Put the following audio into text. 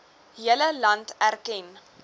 hele land erken